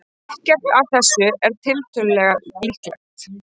Ekkert af þessu er tiltölulega líklegt.